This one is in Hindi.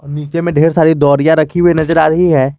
नीचे में ढेर सारे दौरिया रखी हुई नजर आ रही है।